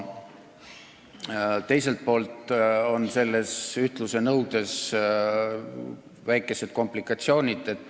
Teiselt poolt on selles ühtluse nõudes väikesed komplikatsioonid.